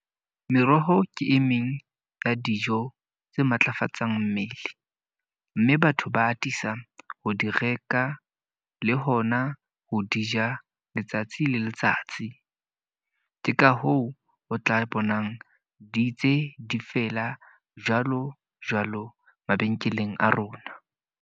Meroho ke e meng ya dijo tse matlafatsang mmele. Mme batho ba atisa ho di reka, le hona ho di ja letsatsi le letsatsi. Ke ka hoo o tla bonang di ntse di fela jwalo jwalo mabenkeleng a rona.